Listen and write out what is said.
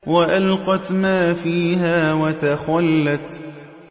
وَأَلْقَتْ مَا فِيهَا وَتَخَلَّتْ